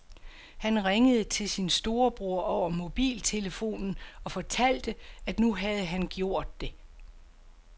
Han ringede til sin storebror over mobiltelefonen og fortalte, at nu havde han gjort det.